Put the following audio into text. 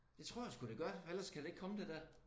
Det tror jeg sgu det gør ellers kan der ikke komme det der